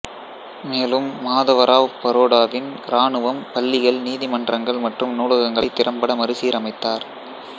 மேலும் மாதவ ராவ் பரோடாவின் இராணுவம் பள்ளிகள் நீதிமன்றங்கள் மற்றும் நூலகங்களை திறம்பட மறுசீரமைத்தார்